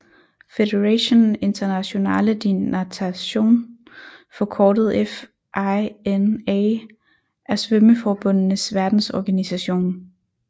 Fédération Internationale de Natation forkortet FINA er svømmeforbundenes verdensorganisation